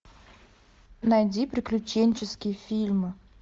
найди приключенческие фильмы